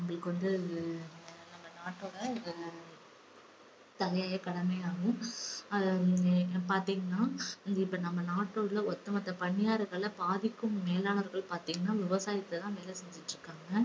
நம்மளுக்கு வந்து நம்ம நாட்டோட தலையாயக் கடமையாகும். அத நீங்க பாத்தீங்கன்னா இப்ப நம்ம நாட்டில உள்ள ஒட்டுமொத்த பணியாளர்கள்ல பாதிக்கும் மேலானவர்கள் பார்த்தீங்கன்னா விவசாயத்தை தான் வேலை செஞ்சிட்டிருக்காங்க